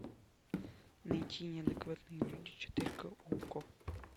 найти неадекватные люди четыре ка окко